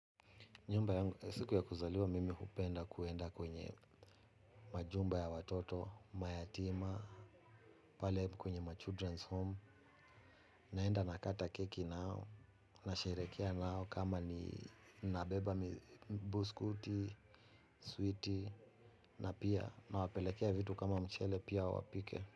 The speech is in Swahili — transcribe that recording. Siku ya kuzaliwa mimi hupenda kuenda kwenye majumba ya watoto, mayatima, pale kwenye machildren's home, naenda nakata keki nao, nasherehekea nao kama ni nabeba biskuti, sweeti, na pia nawapelekea vitu kama mchele pia wapike.